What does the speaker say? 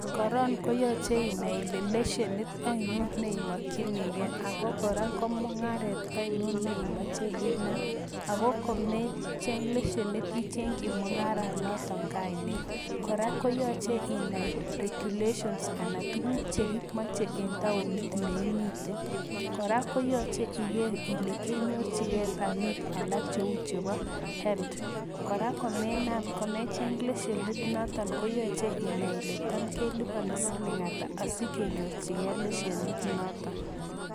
Koron koyoche inai ile lesenit ainon neimokchinigei, ago kora ko mung'aret ainon neimoche inam, ago komecheng lesenit icheng'chi mung'ara notok kainet. Kora koyoche inai regulations anan tuguk chekimoche en taonit neimite. Kora koyoche iger ile kenyorchigei pamit alak cheu chebo health. Kora komenam komecheng lesenit noton koyoche inai ile tam kelipone siling ata sigenyorchigei lesenit noton.